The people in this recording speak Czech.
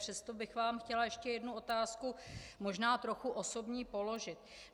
Přesto bych vám chtěla ještě jednu otázku, možná trochu osobní, položit.